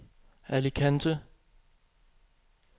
Alicante